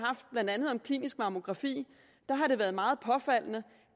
blandt andet klinisk mammografi har det været meget påfaldende